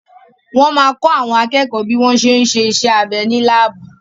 Wọ́n ma kọ́ àwọn akẹ́kọ̀ọ́ bí wọ́n ṣé ń ṣe iṣẹ́ abẹ́ ní láàbù